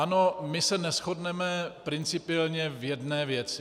Ano, my se neshodneme principiálně v jedné věci.